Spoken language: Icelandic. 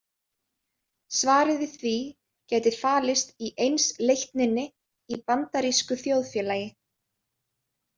Svarið við því gæti falist í einsleitninni í bandarísku þjóðfélagi.